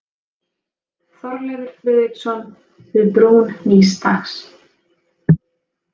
Þorleifur Friðriksson: Við brún nýs dags.